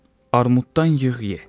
Armuddan yığ, ye.